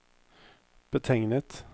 betegnet